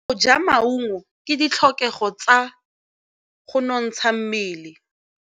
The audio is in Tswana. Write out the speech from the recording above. Go ja maungo ke ditlhokegô tsa go nontsha mmele.